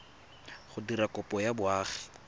go dira kopo ya boagi